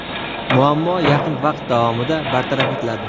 muammo yaqin vaqt davomida bartaraf etiladi.